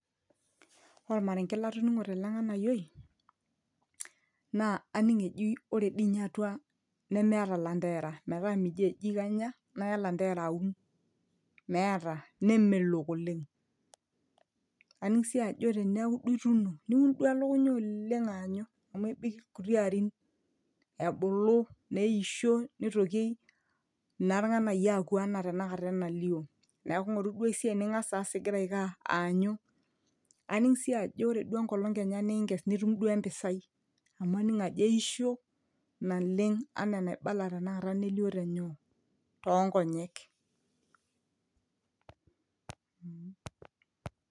ore ormarenge latoning'o tele ng'anayioi naa aning ejii ore dii inye atua nemeeta ilanterara metaa mijo eji kanya naya ilanterara aun meeta nemelok oleng aning sii ajo teneeku duo ituuno niun duo elukunya oleng aanyu amu ebik ilkuti arin ebulu neisho nitoki naa irng'anayio aaku anaa tenakata enalio neeku ng'oru duo esiai ning'as aas igira aiko aa aanyu aning sii ajo ore duo enkolong kenya duo ninkees nitum duo empisai amu aning ajo eisho naleng anaa enaibala tenakata nelio tenyoo tonkonyek.